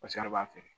Paseke a b'a feere